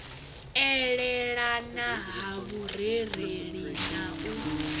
elelana ha vhurereli na u